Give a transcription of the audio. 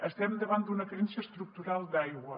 estem davant d’una carència estructural d’aigua